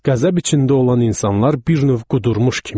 Qəzəb içində olan insanlar bir növ qudurmuş kimi idi.